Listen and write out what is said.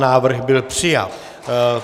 Návrh byl přijat.